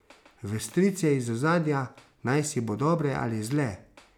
V strice iz ozadja, najsi bo dobre ali zle?